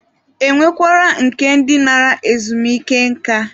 E nwekwara nke ndi nara ezumike nká.